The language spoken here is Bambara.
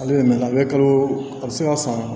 Ale bɛ mɛɛnna a bɛ kalo a bɛ se ka san